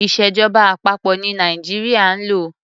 Ìṣèjọba àpapọ̀ ní Nàìjíríà ń lò.